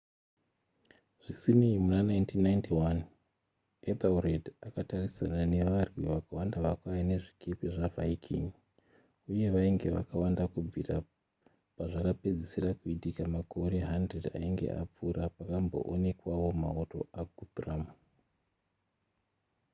zvisinei muna 1991 ethelred akatarisana nevarwi vakawanda vakauya nezvikepe zvaviking uye vainge vakawanda kubvira pazvakapedzisira kuitika makore 100 ainge apfuura pakamboonekwawo mauto aguthrum